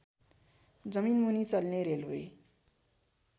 जमिनमुनि चल्ने रेल्वे